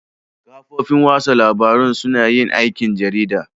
Kafofin watsa labarun suna yin aikin jarida